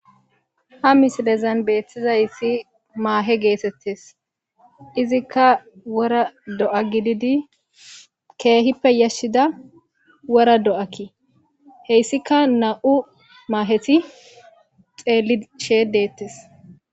Ha mislen beetizaysi mahe gettetes.izika wora fo'a gidid keehippe yashida wora do'a gidid heysika nam'u maheti xelishe detes